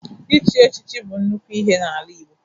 Ichi echichi bụ nnukwu ihe n'ala Igbo.